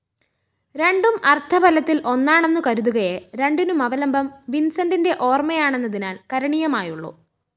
രണ്ടും അര്‍ത്ഥഫലത്തില്‍ ഒന്നാണെന്നു കരുതുകയേ രണ്ടിനുമവലംബം വിന്‍സന്റിന്റെ ഓര്‍മയാണെന്നതിനാല്‍ കരണീയമായുള്ളൂ